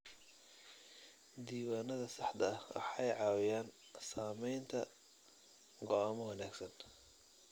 Diiwaanada saxda ah waxay caawiyaan samaynta go'aamo wanagsan.